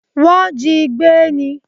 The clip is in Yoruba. Wọ́n jí i gbé ní.